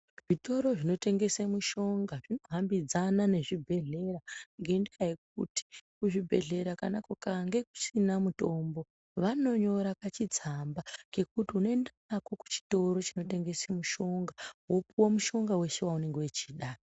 Zvitoro zvinotengesa mishonga zvinohambidzana nezvibhedhlera ngendaa yekuti kuchibhedhlera kana kukange kusina mutombo, vanonyora kachitsamba kekuti unoenda nako kuchitoro chinotengesa mushonga , wopiwa mushonga wese waunenge uchida.